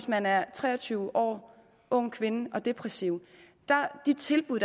man er tre og tyve år ung kvinde og depressiv de tilbud